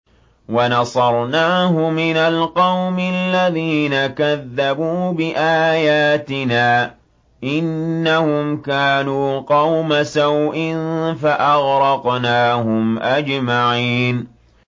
وَنَصَرْنَاهُ مِنَ الْقَوْمِ الَّذِينَ كَذَّبُوا بِآيَاتِنَا ۚ إِنَّهُمْ كَانُوا قَوْمَ سَوْءٍ فَأَغْرَقْنَاهُمْ أَجْمَعِينَ